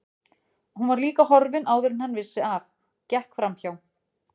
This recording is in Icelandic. Hún var líka horfin áður en hann vissi af, gekk framhjá